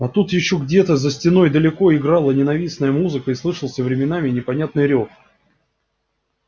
а тут ещё где-то за стеной далеко играла ненавистная музыка и слышался временами непонятный рёв